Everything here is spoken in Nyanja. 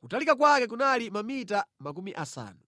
Kutalika kwake kunali mamita makumi asanu.